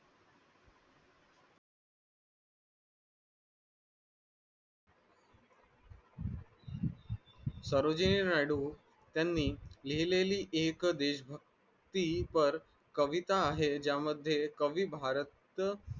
त्यांनी लिहिलेली एक देश व्यक्ती पर कविता हे ज्यामध्ये कवी भारत